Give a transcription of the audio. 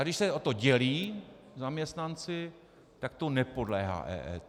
A když se o to dělí zaměstnanci, tak to nepodléhá EET.